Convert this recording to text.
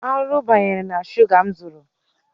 Arụrụ banyere na shuga m zụrụ.